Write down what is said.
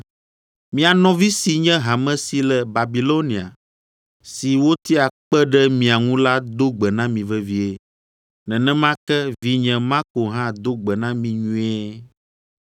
Mia nɔvi si nye hame si le Babilonia, si wotia kpe ɖe mia ŋu la do gbe na mi vevie. Nenema ke, vinye Marko hã do gbe na mi nyuie.